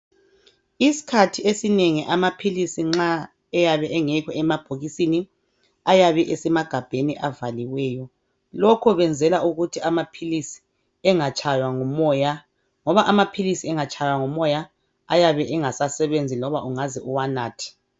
Isikhathi esinengi amaphilisi nxa eyabe engekho emabhokisini ayabe esemagabheni avaliweyo. Lokho benzela ukuthi amaphilisi engatshaywa ngumoya. Ngoba amaphilisi engatshaywa ngumoya ayabe engasasebenzi loba ungaze uwanathe.